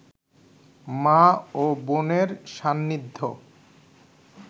মা ও বোনের সান্নিধ্য